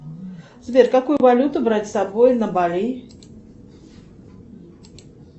сбер какую валюту брать с собой на бали